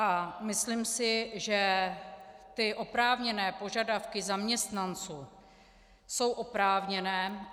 A myslím si, že ty oprávněné požadavky zaměstnanců jsou oprávněné.